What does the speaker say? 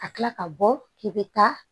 Ka tila ka bɔ k'i bɛ taa